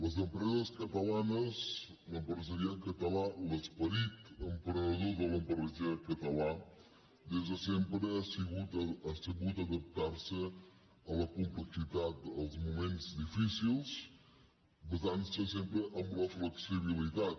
les empreses catalanes l’empresariat català l’esperit emprenedor de l’empresariat català des de sempre ha sabut adaptar se a la complexitat als moments difícils basant se sempre en la flexibilitat